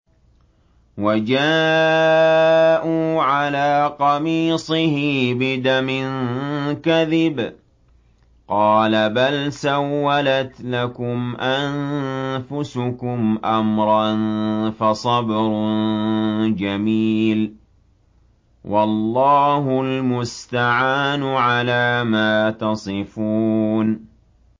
وَجَاءُوا عَلَىٰ قَمِيصِهِ بِدَمٍ كَذِبٍ ۚ قَالَ بَلْ سَوَّلَتْ لَكُمْ أَنفُسُكُمْ أَمْرًا ۖ فَصَبْرٌ جَمِيلٌ ۖ وَاللَّهُ الْمُسْتَعَانُ عَلَىٰ مَا تَصِفُونَ